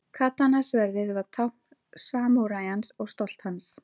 Katana-sverðið var tákn samúræjans og stolt hans.